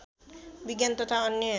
विज्ञान तथा अन्य